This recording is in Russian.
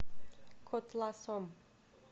котласом